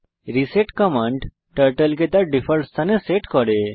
reset command turtle কে তার default স্থানে সেট করে